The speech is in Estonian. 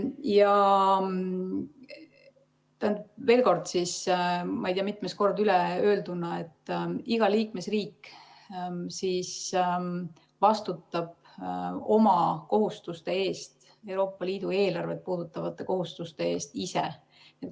Ja veel kord, ei tea mitmes kord öelduna: iga liikmesriik vastutab oma kohustuste eest, Euroopa Liidu eelarvet puudutavate kohustuste eest ise.